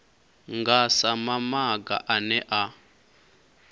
nga sa maga ane a